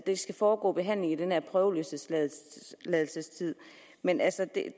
skal foregå behandling i den her prøveløsladelsestid men